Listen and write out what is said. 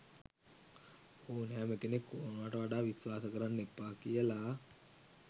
ඕනෑම කෙනෙක් ඕනවට වඩා විස්වාස කරන්න එපා කියලා.